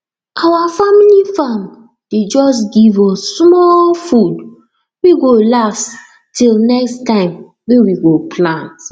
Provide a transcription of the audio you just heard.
our family farm dey just give us small food wey go last till next time wey we we go plant